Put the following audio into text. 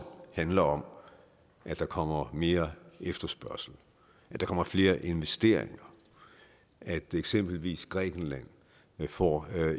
handler om at der kommer mere efterspørgsel at der kommer flere investeringer at eksempelvis grækenland får